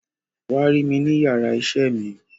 Wa rí mi ni iyàrá iṣẹ mi.